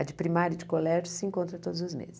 A de primária e de colégio se encontra todos os meses.